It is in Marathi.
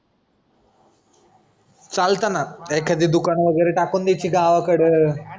चालताना एखादी दुकान वगैरे टाकून द्यायची गावाकडं